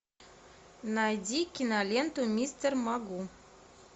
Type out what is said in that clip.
найди киноленту мистер магу